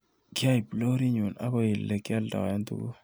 Kyaip lorinyu akoi olekyaldai tuguk.